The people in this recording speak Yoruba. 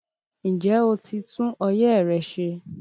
Ǹjẹ́ o ti tún ọyẹ́ rẹ ṣe?